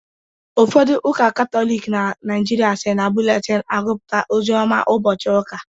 Ụfodu ụka katọlịk na naijịrịa si na bụletin agupụta ozioma ubochi ụka